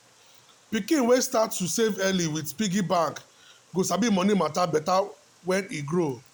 pikin wey start to save early with piggy bank go sabi money matter better when e grow